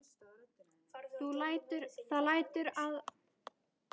Það lætur aðra um að yrkja sínar höfuðlausnir.